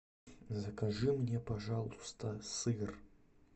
закажи мне пожалуйста сыр